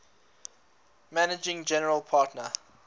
managing general partner